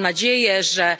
Mam nadzieję, że